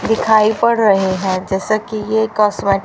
दिखाई पड़ रहे हैं जैसा कि ये कास्मे--